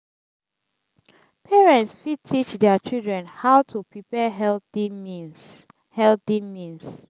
parents fit teach their children how to prepare healthy means healthy means